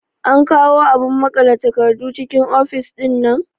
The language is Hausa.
An kawo abun maƙale takardu cikin ofis ɗinnan?